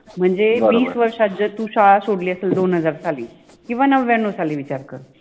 मनजे विस वर्षात जर तु शाळा सोडलि असेल दोन हजार सालि किव्वा नव्व्यान्नव सालि विचार कर